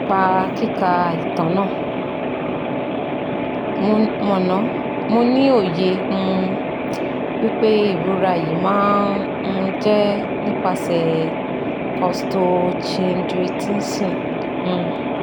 Nipa kika itan na, mo na, mo ni oye um wipe irora yi ma um je nipase costochindritisọ́n um